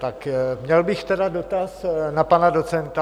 Tak měl bych tedy dotaz na pana docenta.